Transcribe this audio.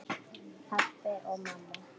Pabbi og mamma